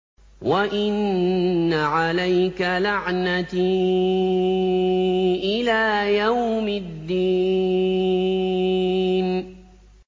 وَإِنَّ عَلَيْكَ لَعْنَتِي إِلَىٰ يَوْمِ الدِّينِ